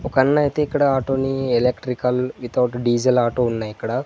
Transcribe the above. ఒక అన్న ఐతే ఇక్కడ ఆటోని ఎలక్ట్రికల్ వితౌట్ డీజిల్ ఆటో ఉన్నయ్ ఇక్కడ.